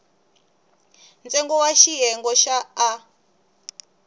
ntsengo wa xiyenge xa a